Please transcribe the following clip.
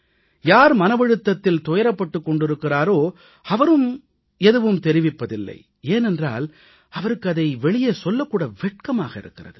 யார் மனவழுத்தத்தில் துயரப்பட்டுக் கொண்டிருக்கிறாரோ அவரும் எதுவும் தெரிவிப்பதில்லை ஏனென்றால் அவருக்கு இதை வெளியே சொல்லக் கூட வெட்கமாக இருக்கிறது